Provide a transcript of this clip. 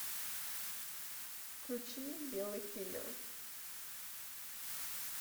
включи белый киллер